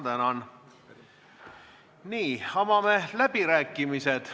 Avan läbirääkimised.